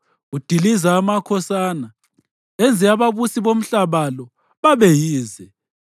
Udiliza amakhosana, enze ababusi bomhlaba lo babe yize.